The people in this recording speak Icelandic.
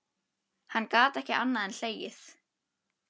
Hann gat ekki annað en hlegið.